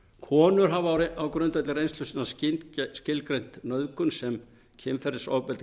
konur hafa á grundvelli reynslu sinnar skilgreint nauðgun sem kynferðisofbeldi